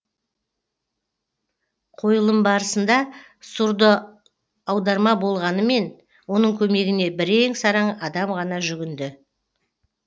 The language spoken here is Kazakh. қойылым барысында сурдо аударма болғанымен оның көмегіне бірең сараң адам ғана жүгінді